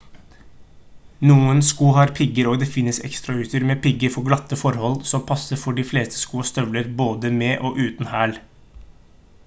noen sko har pigger og det finnes ekstrautstyr med pigger for glatte forhold som passer for de fleste sko og støvler både med og uten hæl